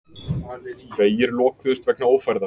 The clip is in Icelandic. Vegir lokuðust vegna ófærðar